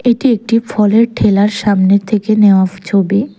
এটি একটি ফলের ঠেলার সামনের থেকে নেওয়া ফ ছবি।